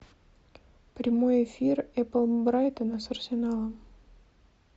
прямой эфир апл брайтона с арсеналом